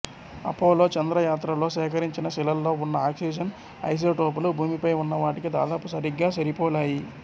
Apollo చంద్ర యాత్రల్లో సేకరించిన శిలల్లో ఉన్న అక్సిజన్ ఐసోటోపులు భూమిపై ఉన్న వాటికి దాదాపు సరిగ్గా సరిపోలాయి